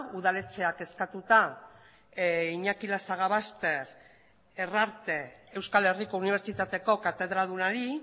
udaletxeak eskatuta iñaki lasagabaster herrarte euskal herriko unibertsitateko katedradunari